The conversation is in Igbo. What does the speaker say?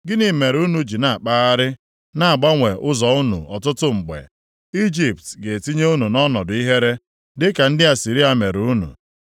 Gịnị mere unu ji na-akpagharị na-agbanwe ụzọ unu ọtụtụ mgbe? Ijipt ga-etinye unu nʼọnọdụ ihere dịka ndị Asịrịa mere unu.